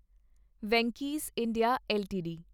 Venky's India LTD